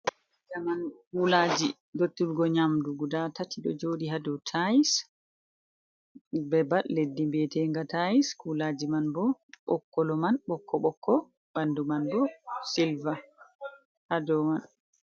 Zaman kuulaji rotturgo nƴamdu guda tati ɗo jooɗi haa dow tayis. Bebal leddi biyetenga tayis. Kuulaji man bo, kolo man ɓokko-ɓokko, ɓandu man bo 'silver' haa dow man.